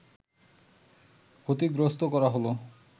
ক্ষতিগ্রস্থ করা হলো